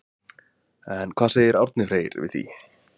En hvað segir Árni Freyr við því?